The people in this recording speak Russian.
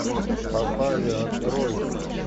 попали открой